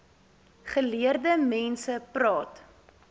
geleerde mense praat